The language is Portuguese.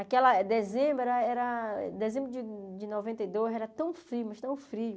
Aquela dezembro era era dezembro de de noventa e dois era tão frio, mas tão frio.